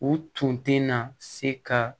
U tun tɛ na se ka